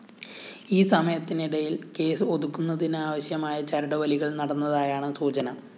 ഈ സമയത്തിനിടയില്‍ കേസ് ഒതുക്കുന്നതിനാവശ്യമായ ചരടുവലികള്‍ നടന്നതായാണ് സൂചന